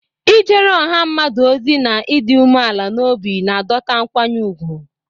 Ijere ọha mmadụ ozi na ịdị umeala n'obi na-adọta nkwanye ùgwù.